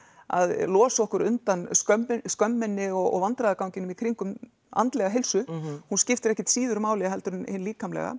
að losa okkur undan skömminni skömminni og vandræðaganginum í kringum andlega heilsu hún skiptir ekkert síður máli heldur en hin líkamlega